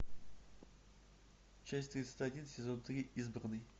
часть тридцать один сезон три избранный